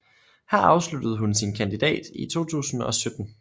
Her afsluttede hun sin kandidat i 2017